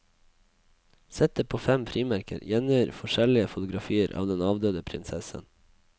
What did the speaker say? Settet på fem frimerker gjengir forskjellige fotografier av den avdøde prinsessen.